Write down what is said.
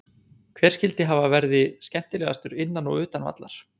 Hver skyldi hafa verði skemmtilegastur innan og utan vallar?